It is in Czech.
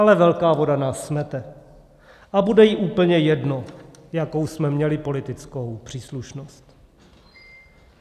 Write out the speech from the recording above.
Ale velká voda nás smete a bude jí úplně jedno, jakou jsme měli politickou příslušnost.